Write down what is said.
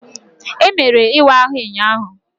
Emere ịwa ahụ ụnyaahụ.